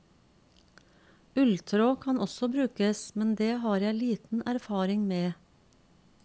Ulltråd kan også brukes, men det har jeg liten erfaring med.